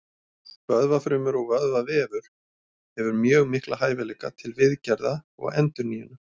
Vöðvafrumur og vöðvavefur hefur mjög mikla hæfileika til viðgerða og endurnýjunar.